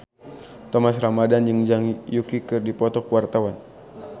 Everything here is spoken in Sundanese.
Thomas Ramdhan jeung Zhang Yuqi keur dipoto ku wartawan